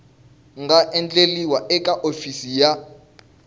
nga endliwa eka hofisi ya